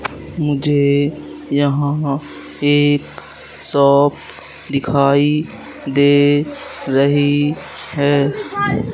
मुझे यहां एक सॉप दिखाई दे रही है।